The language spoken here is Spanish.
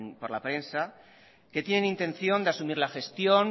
por la prensa que tienen intención de asumir la gestión